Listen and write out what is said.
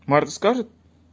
марк скажет